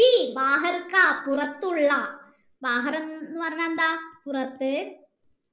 പുറത്തുള്ള എന്ന് പറഞ്ഞാൽ എന്താ പുറത്ത്